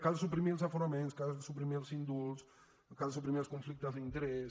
cal suprimir els aforaments cal suprimir els indults cal suprimir els conflictes d’interès